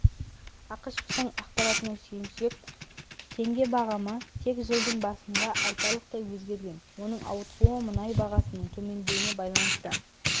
ақышевтың ақпаратына сүйенсек теңге бағамы тек жылдың басында айтарлықтай өзгерген оның ауытқуы мұнай бағасының төмендеуіне байланысты